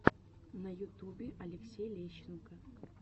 на ютубе алексей лещенко